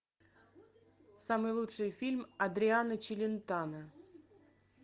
самый лучший фильм адриано челентано